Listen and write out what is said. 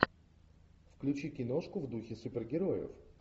включи киношку в духе супергероев